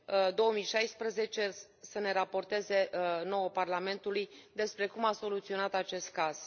2016, să ne raporteze nouă, Parlamentului, despre cum a soluționat acest caz.